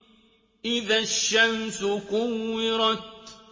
إِذَا الشَّمْسُ كُوِّرَتْ